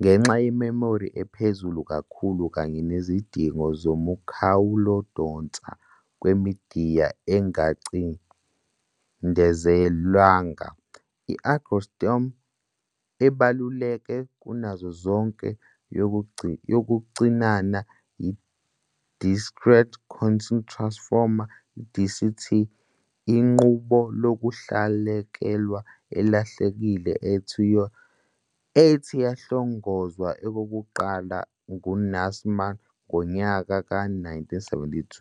ngenxa yememori ephezulu kakhulu kanye nezidingo zomkhawulokudonsa kwemidiya engacindezelwanga. I-algorithm ebaluleke kunazo zonke yokucinana yi-discrete cosine transform, DCT, inqubo yokulahlekelwa elahlekile ethi yahlongozwa okokuqala nguNasir Ahmed ngo-1972.